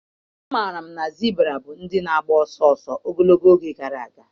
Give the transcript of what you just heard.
Amaara m na zibra bụ ndị na-agba ọsọ ọsọ ogologo oge gara aga.